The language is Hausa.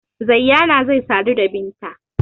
Zayyana zai sadu da Binta.